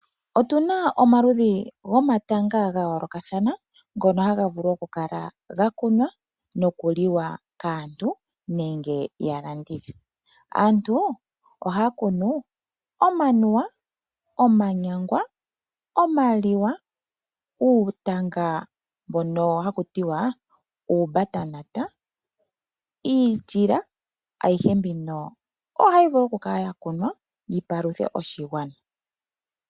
Otu na omaludhi gomatanga ga yoolokathana, ngono ha ga vulu oku kala ga kunwa noku liwa kaantu nenge ya landithe. Aantu oha ya kunu omanuwa, omanyangwa, omaliwa uutanga wuunyangwa niitila. Ayihe mbino oha yi vulu oku kala ya kunwa yi paluthe oshigwana.